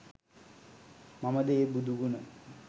මමද ඒ බුදු ගුණ